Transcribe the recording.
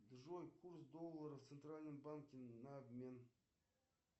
джой курс доллара в центральном банке на обмен